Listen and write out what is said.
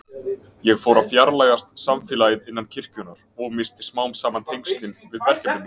Ég fór að fjarlægjast samfélagið innan kirkjunnar og missti smám saman tengslin við verkefni mín.